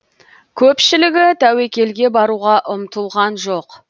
көпшілігі тәуекелге баруға ұмтылған жоқ